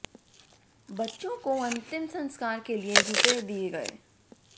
बच्चों को अंतिम संस्कार के लिए रुपये दिए गए